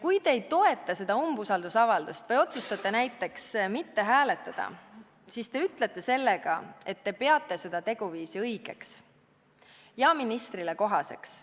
Kui te ei toeta seda umbusaldusavaldust või otsustate näiteks mitte hääletada, siis te ütlete sellega, et te peate seda teguviisi õigeks ja ministrile kohaseks.